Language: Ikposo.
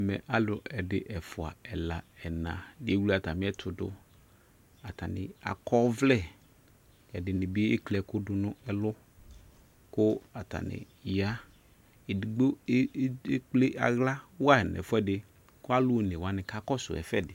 Ɛmɛ alu ɛde ɛfua ɛla ɛna ewle atame ɛto do Atane akɔ ɔvlɛƐde be ekli ɛku do no ɛlu ko atane yaEdigbo ekple ahla wa nɛ fuɛde ko alu one wane ka kɔso ɛfuɛde